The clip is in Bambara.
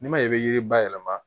N'i ma ɲɛ i bɛ yiri bayɛlɛma